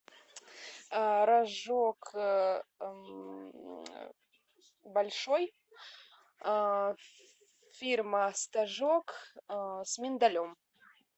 рожок большой фирма стожок с миндалем